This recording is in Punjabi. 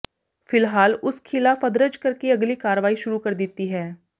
ਫਿਲਹਾਲ ਉਸ ਖਿ ਲਾ ਫ ਦਰਜ ਕਰਕੇ ਅਗਲੀ ਕਾਰਵਾਈ ਸ਼ੁਰੂ ਕਰ ਦਿੱਤੀ ਹੈ